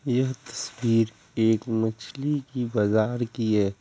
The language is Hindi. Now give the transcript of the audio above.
यह तस्वीर एक मछली की बाजार की है।